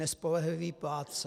Nespolehlivý plátce.